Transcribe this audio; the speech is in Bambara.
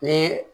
Ni